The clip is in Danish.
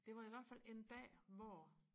det var i hvert fald en dag hvor